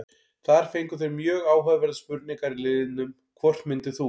Þar fengu þeir mjög áhugaverðar spurningar í liðnum: Hvort myndir þú?